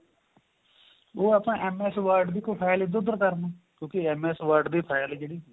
ਉਹ ਆਪਾਂ MS word ਦੀ ਕੋਈ file ਇੱਧਰ ਉੱਧਰ ਕਰਨ ਨੂੰ ਕਿਉਂਕਿ MS word ਦੀ file ਜਿਹੜੀ